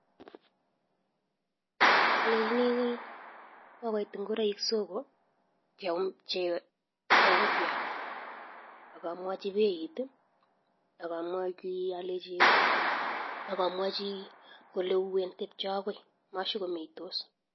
Alechinii kokoit ngoroik soko che upya akamwachii beit akamwachii kole uwen tepche akoi mashokomeitos